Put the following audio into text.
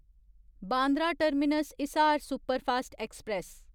Bandra terminus Hisar superfast express